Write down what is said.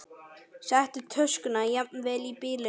Settu töskuna jafnvel í bílinn.